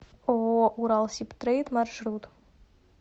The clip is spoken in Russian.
ооо уралсибтрейд маршрут